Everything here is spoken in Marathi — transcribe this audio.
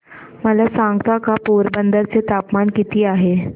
मला सांगता का पोरबंदर चे तापमान किती आहे